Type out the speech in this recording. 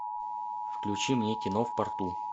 включи мне кино в порту